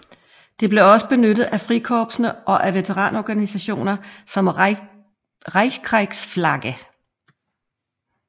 Det blev også benyttet af Frikorpsene og af veteranorganisationer som Reichskriegsflagge